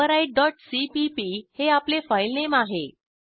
overrideसीपीपी हे आपले फाईलनेम आहे